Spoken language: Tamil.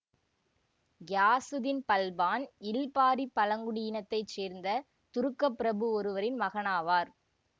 கியாசுத்தீன் பல்பான் இல்பாரி பழங்குடியினத்தைச் சேர்ந்த துருக்கப் பிரபு ஒருவரின் மகனாவார்